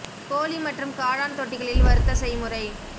கோழி மற்றும் காளான் தொட்டிகளில் வறுத்த செய்முறை